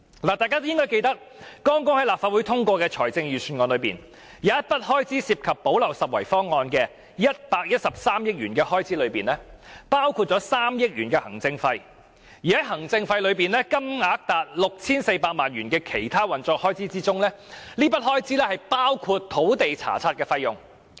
大家應記得，剛在立法會通過的財政預算案中，有一筆涉及"補漏拾遺"方案的113億元開支，當中包括3億元行政費，而在這筆行政費中，有高達 6,400 萬元用作其他運作開支，包括土地查冊費用。